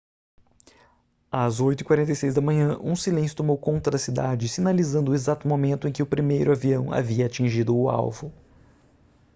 às 8:46 da manhã um silêncio tomou conta da cidade sinalizando o exato momento em que o primeiro avião havia atingido o alvo